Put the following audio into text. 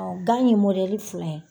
Gan ye fila ye